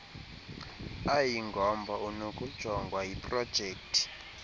ayingomba unokujongwa yiprojekthi